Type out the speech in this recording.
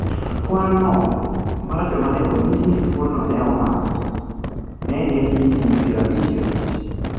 Kwan mar joma ne onyis ni tuwono ne omako ne en higini piero abich gi abich.